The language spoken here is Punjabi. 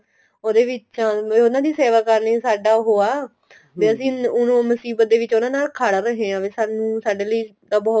ਉਹਦੇ ਵਿੱਚ ਉਹਨਾ ਦੀ ਸੇਵਾ ਕਰਨੀ ਸਾਡੇ ਉਹ ਆ ਬੀ ਅਸੀਂ ਉਹਨੂੰ ਮੁਸੀਬਤ ਦੇ ਵਿੱਚ ਉਹਨਾ ਨਾਲ ਖੜ ਰਹੇ ਆ ਵੀ ਸਾਨੂੰ ਸਾਡੇ ਲਈ ਤਾਂ ਬਹੁਤ